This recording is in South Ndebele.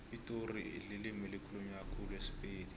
epitori ilimi elikhulunywa khulu sipedi